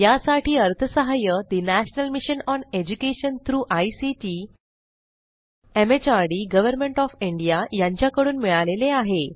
यासाठी अर्थसहाय्य national mission on education through ICT MHRD government of India यांच्याकडून मिळालेले आहे